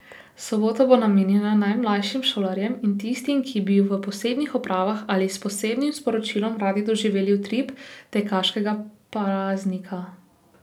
Sobota bo namenjena najmlajšim šolarjem in tistim, ki bi v posebnih opravah ali s posebnim sporočilom radi doživeli utrip tekaškega praznika.